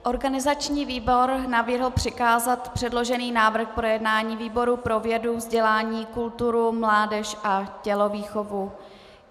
Organizační výbor navrhl přikázat předložený návrh k projednání výboru pro vědu, vzdělání, kulturu, mládež a tělovýchovu.